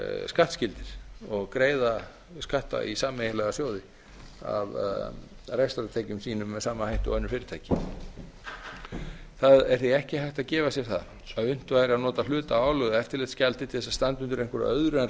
skattskyldir og greiða skatta í sameiginlega sjóði af rekstrartekjum sínum með sama hætti og önnur fyrirtæki það er því ekki hægt að gefa sér það að unnt væri að nota hluta af álögðu eftirlitsgjaldi til að standa undir einhverju öðru en